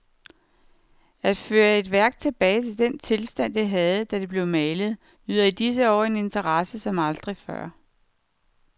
At føre et værk tilbage til den tilstand, det havde, da det blev malet, nyder i disse år en interesse som aldrig før.